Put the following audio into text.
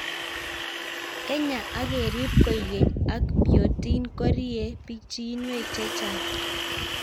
Kenyaa ak kerip koek keny ak biotin ko riei pichinwek chechang'